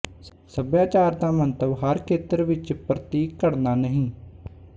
ਸਭਿਆਚਾਰ ਦਾ ਮੰਤਵ ਹਰ ਖੇਤਰ ਵਿੱਚ ਪ੍ਤੀਕ ਘੜਣਾ ਨਹੀਂ